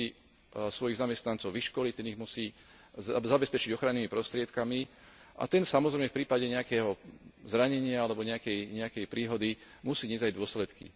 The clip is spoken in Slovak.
Ten musí svojich zamestnancov vyškoliť, ten ich musí zabezpečiť ochrannými prostriedkami a ten, samozrejme, v prípade nejakého zranenia alebo nejakej príhody, musí niesť aj dôsledky.